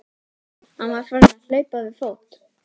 Hann var farinn að hlaupa við fót.